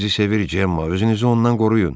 O sizi sevir Cemma, özünüzü ondan qoruyun.